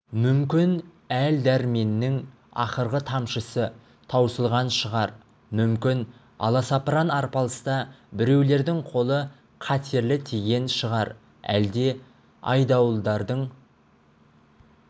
мүмкін әл-дәрменнің ақырғы тамшысы таусылған шығар мүмкін аласапыран арпалыста біреулердің қолы қатерлі тиген шығар әлде айдауылдардың